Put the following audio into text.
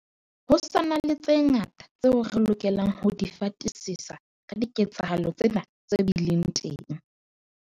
Ho sa na le tse ngata tseo re lokelang ho di fatisisa ka diketsahalo tsena tse bileng teng.